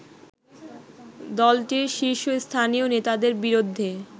দলটির শীর্ষস্থানীয় নেতাদের বিরুদ্ধে